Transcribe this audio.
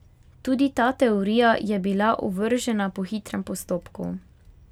Tudi ta teorija je bila ovržena po hitrem postopku.